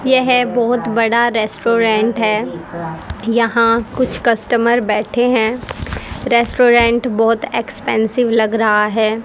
यह बहोत बड़ा रेस्टोरेंट है यहां कुछ कस्टमर बैठे हैं रेस्टोरेंट बोहोत एक्सपेंसिव लग रहा है।